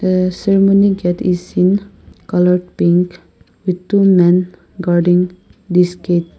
there are so many that we seen colour pink with two men guarding this place.